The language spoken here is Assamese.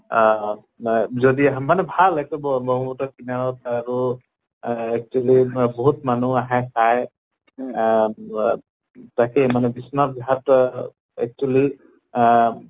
আম মা যদি আহা মানে ভাল কিনাৰত আৰু এহ actually মা বহুত মানু আহে চায় আহ ৱা তাকে মানে বিশ্বনাথ ঘাট অহ actually আহ